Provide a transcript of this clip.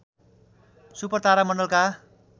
super तारा मण्डलका